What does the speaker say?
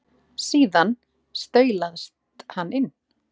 Síðan staulast hann inn.